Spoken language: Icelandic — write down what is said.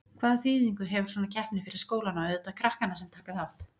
Hvaða þýðingu hefur svona keppni fyrir skólana og auðvitað krakkana sem taka þátt?